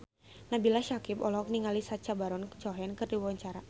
Nabila Syakieb olohok ningali Sacha Baron Cohen keur diwawancara